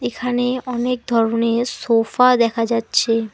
এখানে অনেক ধরনের সোফা দেখা যাচ্ছে।